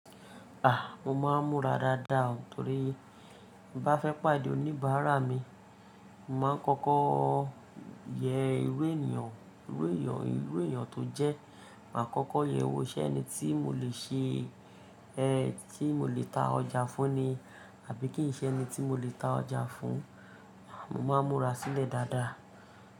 A! Mo máa ń múra dáadáa o, torí tin bá fẹ́ pàdé oníbàárà mi, màá kọ́kọ́ yẹ ìrú ènìyàn, ìrú ènìyàn, ìrú ènìyàn tó jẹ́, màá kọ́kọ́ yẹ wó ṣẹ́ẹni tí mo lè ṣe, ẹ́ tí mo lè ta ọjà fún ni, àbí kí n ṣẹ́ ẹni tí mo lè ta ọjà fún, mo máa ń múra sílẹ̀ dáadáa.